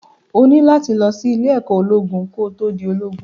O ní láti lọ sí ìlé-ẹ̀kọ́ ológun ko tó di ológun.